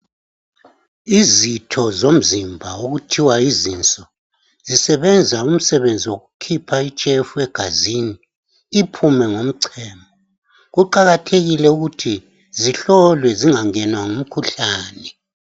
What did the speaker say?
Izitho zomzimba okuthiwa yizinso, zisebenza umsebenzi wokukhipha itshefu egazini iphume ngomchemo. Kuqakathekile ukuthi zihlolwe zingangenwa ngumkhuhlane.